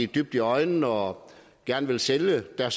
dybt i øjnene og gerne vil sælge og